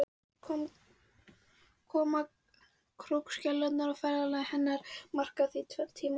Koma krókskeljarinnar og ferðafélaga hennar markar því tvenn tímamót.